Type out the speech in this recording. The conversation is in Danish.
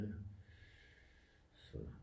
Så